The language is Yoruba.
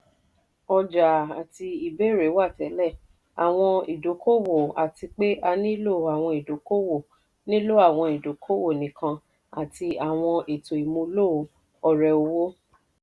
ọjàa àti ìbéèrè wà tẹlẹ̀; àwọn ìdòkòwò àti pé a nílò àwọn ìdòkòwò nílò àwọn ìdòkòwò nìkan àti àwọn ètò ìmúlò ọ̀rẹ̀-owó.